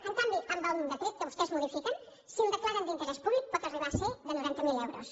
en canvi amb el decret que vostès modifiquen si el declaren d’interès públic pot arribar a ser de noranta mil euros